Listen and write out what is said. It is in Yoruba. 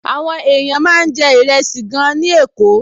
Àwọn èèyàn máa ń jẹ ìrẹsì gan-an ní Èkó